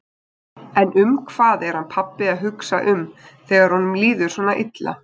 En um hvað er hann pabbi að hugsa um þegar honum líður svona illa?